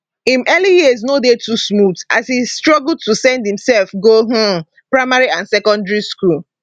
im early years no dey too smooth as e struggle to send imsef go um primary and secondary school